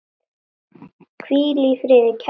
Hvíl í friði kæra Magga.